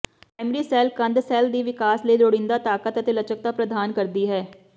primary cell ਕੰਧ cell ਦੀ ਵਿਕਾਸ ਲਈ ਲੋੜੀਂਦੀ ਤਾਕਤ ਅਤੇ ਲਚਕਤਾ ਪ੍ਰਦਾਨ ਕਰਦੀ ਹੈ